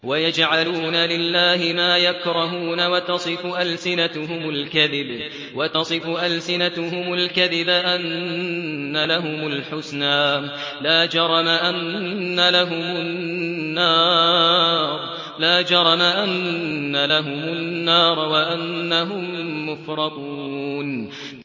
وَيَجْعَلُونَ لِلَّهِ مَا يَكْرَهُونَ وَتَصِفُ أَلْسِنَتُهُمُ الْكَذِبَ أَنَّ لَهُمُ الْحُسْنَىٰ ۖ لَا جَرَمَ أَنَّ لَهُمُ النَّارَ وَأَنَّهُم مُّفْرَطُونَ